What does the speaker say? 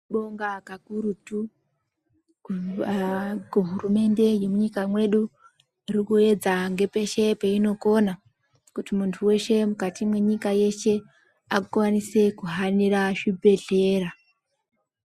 Tinobonga kakurutu kuhurumende yemwunyika mwedu iri kuedza ngepeshe peinokona kuti muntu weshe mwukati mwenyika yeshe akwanise kuhanira zvibhedhlera.